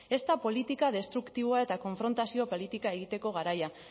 ez da politika destruktiboa eta konfrontazio politika egiteko garaia